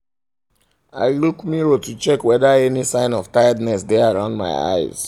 i look i look mirror to check whether any sign of tiredness dae around my eyes